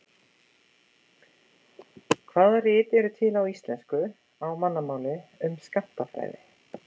Hvaða rit eru til á íslensku, á mannamáli, um skammtafræði?